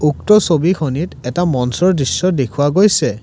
উক্ত ছবিখনিত এটা মঞ্চৰ দৃশ্য দেখুওৱা গৈছে।